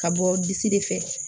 Ka bɔ bisi de fɛ